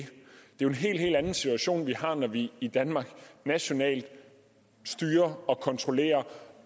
jo en helt helt anden situation vi har når vi i danmark nationalt styrer og kontrollerer